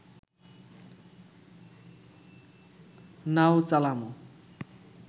নাও চালামু